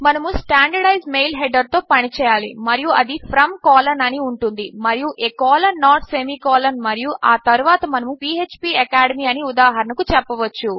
మనము standardised mail header తో పని చేయాలి మరియు అది From అని ఉంటుంది మరియు a colon note semicolon మరియు ఆ తరువాత మనము పీఎచ్పీ అకాడెమీ అని ఉదాహరణకు చెప్పవచ్చు